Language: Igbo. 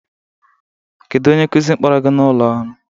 Kedu onye nkuzi kpọrọ gị n'ụlọ ọrụ?